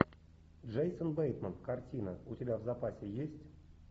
джейсон бейтман картина у тебя в запасе есть